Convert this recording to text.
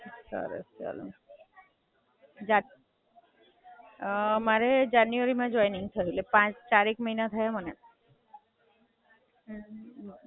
Tiffin લઈને આયો તો ક નાસ્તો કર્યો ખાલી?